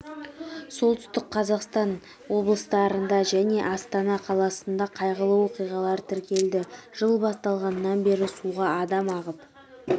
солтүстік қазақстан облыстарында және астана қаласында қайғылы оқиғалар тіркелді жыл басталғаннан бері суға адам ағып